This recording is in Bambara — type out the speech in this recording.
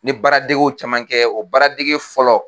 Ne baara degew caman kɛ o baara dege fɔlɔ